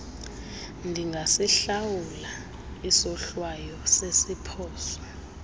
ndingasihlawula isohlwayo sesiphoso